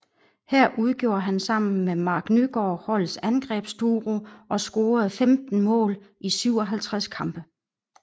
Her udgjorde han sammen med Marc Nygaard holdets angrebsduo og scorede 15 mål i 57 kampe